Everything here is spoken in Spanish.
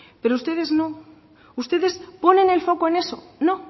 pero ustedes no ustedes ponen el foco en eso no